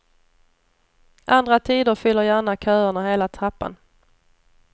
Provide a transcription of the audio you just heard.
Andra tider fyller gärna köerna hela trappan.